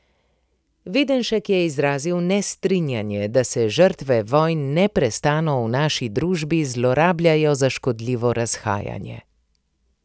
Videnšek je izrazil nestrinjanje, da se žrtve vojn neprestano v naši družbi zlorabljajo za škodljivo razhajanje.